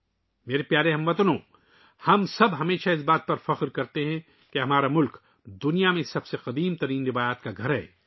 میرے پیارے ہم وطنو، ہم سب ہمیشہ اس بات پر فخر کرتے ہیں کہ ہمارا ملک دنیا کی قدیم ترین روایات کا گھر ہے